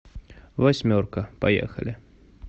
восьмерка поехали